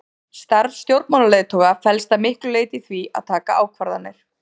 Starf stjórnmálaleiðtoga felst að miklu leyti í því að taka ákvarðanir.